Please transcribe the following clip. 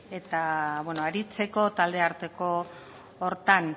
eta aritzeko taldearteko horretan